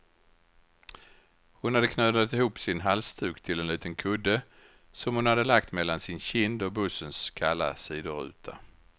Hon hade knölat ihop sin halsduk till en liten kudde, som hon hade lagt mellan sin kind och bussens kalla sidoruta.